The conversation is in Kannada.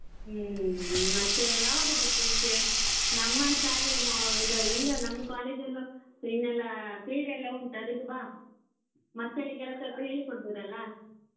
ಹ್ಮ್ ಮತ್ತೆ ಯಾವಾಗ ಬರ್ತಿ ಈಚೆ ನಮ್ಮ ಶಾಲೆ ಇದು ಇಲ್ಲೇ ನಮ್ದು college ಇನ್ನೆಲ್ಲಾ ಕ್ರೀಡೆಯೆಲ್ಲ ಉಂಟು ಅದಕ್ಕೆ ಬಾ ಮಕ್ಕಳಿಗೆಲ್ಲ ಸ್ವಲ್ಪ ಹೇಳಿ ಕೊಡ್ಬೋದಲ್ಲ .